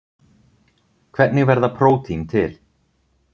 Hvernig verða prótín til?